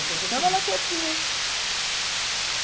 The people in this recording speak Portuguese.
É que eu fugi. Ficava lá quietinha.